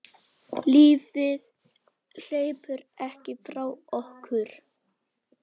Lífið hleypur ekki frá okkur.